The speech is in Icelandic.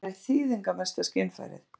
Augað er eitt þýðingarmesta skynfærið.